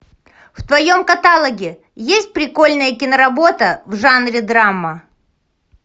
в твоем каталоге есть прикольная киноработа в жанре драма